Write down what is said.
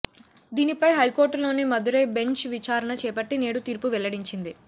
దీనిపై హైకోర్టులోని మదురై బెంచ్ విచారణ చేపట్టి నేడు తీర్పు వెల్లడించింది